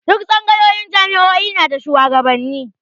Duk tsangayoyin jami'o'i na da shuwagabanni